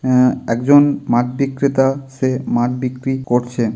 আ এক জন মাছ বিক্রেতা। সে মাছ বিক্রি করছে ।